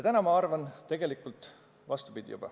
Täna ma aga arvan tegelikult vastupidi.